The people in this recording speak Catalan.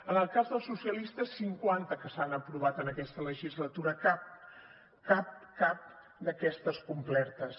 en el cas dels socialistes cinquanta que s’han aprovat en aquesta legislatura cap cap cap d’aquestes complertes